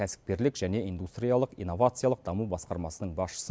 кәсіпкерлік және индустриалық инновациялық даму басқармасының басшысы